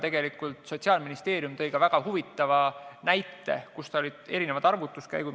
Tegelikult Sotsiaalministeerium tõi ka väga huvitava näite, kus olid erinevad arvutuskäigud.